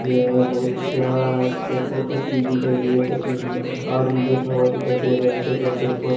यह बहुत ही प्यारा एक वो तस्वीर दिखाई गई है तस्वीर में एक आदमी बैठा हुआ दिखाई दे रहा है टेबल के ऊपर।